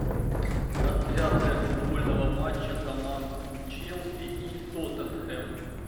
трансляция футбольного матча команд челси и тоттенхэм